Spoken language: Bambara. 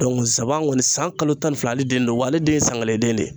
saba kɔni san kalo tan ni fila ale den don wa ale den ye san kelen den de ye.